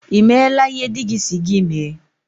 Ị meela ihe dị gị si gị mee?